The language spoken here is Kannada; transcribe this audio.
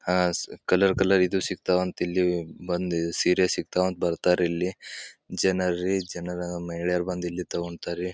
ಅಹ್ ಸ್ ಕಲರ್ ಕಲರ್ ಇದು ಸಿಕ್ತವಾ ವಂತ ಇಲ್ಲಿ ಸೀರೆ ಸಿಕ್ತರ ಅಂತ ಬರ್ತಾರೆ ಇಲ್ಲಿ ಜನರಿ ಜನ ಮಹಿಳೆರು ಬಂದು ಇಲ್ಲಿ ತಗೋಂತಾರೆ.